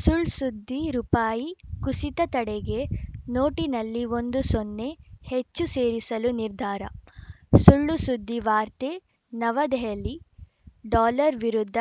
ಸುಳ್‌ ಸುದ್ದಿ ರುಪಾಯಿ ಕುಸಿತ ತಡೆಗೆ ನೋಟಿನಲ್ಲಿ ಒಂದು ಸೊನ್ನೆ ಹೆಚ್ಚು ಸೇರಿಸಲು ನಿರ್ಧಾರ ಸುಳ್ಳುಸುದ್ದಿ ವಾರ್ತೆ ನವದೆಹಲಿ ಡಾಲರ್‌ ವಿರುದ್ಧ